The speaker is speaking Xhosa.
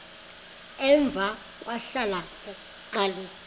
emva kwahlala uxalisa